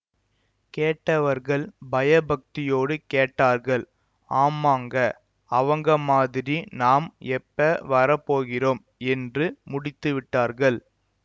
கேட்டவர்கள் பயபக்தியோடு கேட்டார்கள் ஆமாங்க அவங்க மாதிரி நாம் எப்ப வரப்போகிறோம் என்று முடித்து விட்டார்கள்